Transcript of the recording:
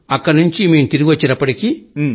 అక్కడి నుంచి తిరిగి వచ్చేటప్పటికీ